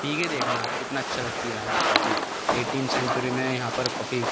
P के देखना कितनी अच्छा लगती है यहाँ की कॉफ़ी एइटीन सेंचुरी में यहाँ पर की कॉफ़ी --